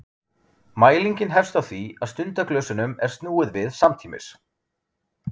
mælingin hefst á því að stundaglösunum er snúið við samtímis